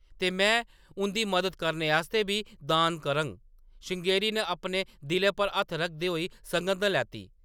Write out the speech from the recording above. "ते में उंʼदी मदद करने आस्तै बी दान करङ,” श्रृंगेरी ने अपने दिलै पर हत्थ रखदे होई सघंद लैती ।